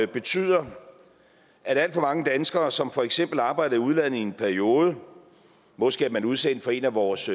betyder at alt for mange danskere som for eksempel arbejder i udlandet i en periode måske er man udsendt for en af vores